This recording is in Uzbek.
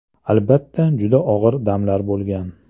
Albatta, juda og‘ir damlar bo‘lgan.